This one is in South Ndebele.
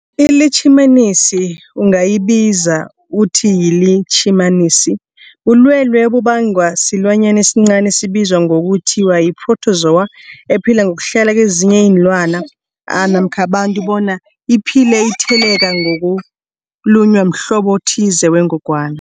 ILitjhimanisi ungayibiza uthiyilitjhimanisi, bulwelwe obubangwa silwanyana esincani esibizwa ngokuthiyi-phrotozowa ephila ngokuhlala kezinye iinlwana namkha abantu bona iphile itheleleka ngokulunywa mhlobo othize wengogwana.